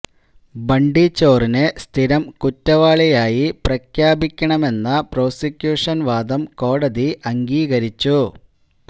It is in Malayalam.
ബണ്ടി ചോറിനെ സ്ഥിരം കുറ്റവാളിയായി പ്രഖ്യാപിക്കണമെന്ന പ്രോസിക്യൂഷന് വാദം കോടതി അംഗീകരിച്ചു